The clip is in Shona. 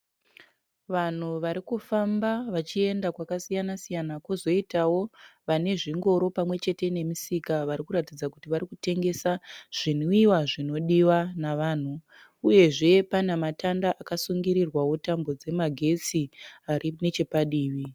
Vanhu vari kufamba vachienda kwakasiyana siyana kozoitawo vane zvingoro pamwechete nemisika varikuratidza kuti varikutengesa zvinwiwa zvinodiwa nevanhu uyezve pana matanda akasungirirwawo tambo dzemagetsi ari nechepadivi.